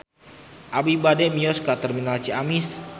Abi bade mios ka Terminal Ciamis